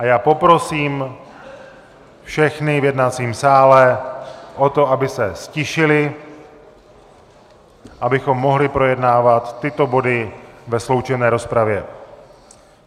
A já poprosím všechny v jednacím sále o to, aby se ztišili, abychom mohli projednávat tyto body ve sloučené rozpravě.